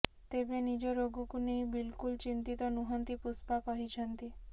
ତେବେ ନିଜ ରୋଗକୁ ନେଇ ବିଲକୁଲ ଚିନ୍ତିତ ନୁହନ୍ତି ପୁଷ୍ପା କହିଛନ୍ତି